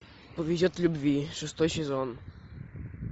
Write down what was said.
повезет в любви шестой сезон